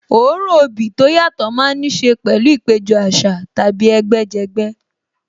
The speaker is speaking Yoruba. Òórùn obì tó yàtọ̀ má ń níṣe pẹ̀lú ìpéjọ àṣà tàbí ẹgbẹ́ jẹgbẹ́